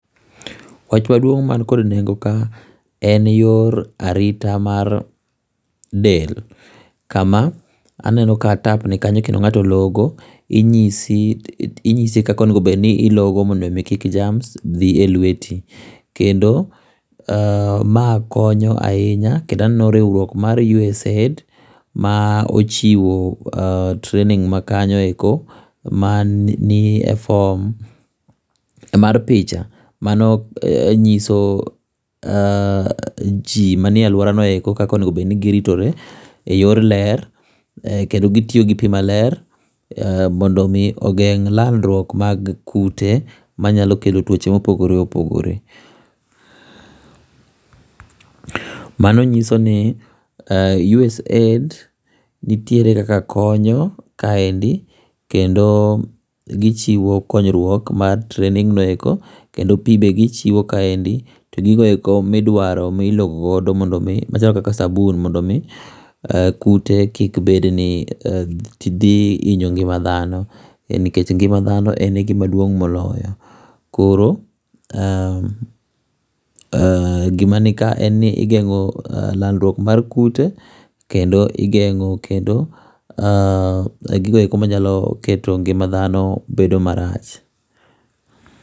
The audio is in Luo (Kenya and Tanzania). Wach maduong' man kod nengo ka en wach kor ka arita mag del kama aneno ka tap ni kanyo kendo ng'ato logo ing'isi kaka onego bed ilogo mondo kik germs dhi e lweti. Kendo ma konyo ahinya kendo aneno riwruok moro mar USAID ma ochiwo training ma kanyo eko ma ni e form mar picha ma no ng'iso ji ma ni e aluora no eko kaka onego bed ni gi ritre e yor ler kendo gi tiyo gi pi ma ler mondo mi ogeng' landruok mar kute ma nyalo kelo tuoche ma opogore opogore mano ng'iso ni usaid nitie kaka konyo kaendi kendo gi chiwo konyruok mar training no eko kendo pi be gi chiwo kaendi to gigo be ma idwaro mi ilogo godo machalo kaka sabun mondo mi kute kik bed ni dhi inyo ngima dhano nikech ngima dhano en gi maduong' moloyo koro gi ma ni ka en ni igeng'o landruok mar kute kendo igeng'o kendo gigo eko ma nyalo keto ngima dhano bedo ma rach.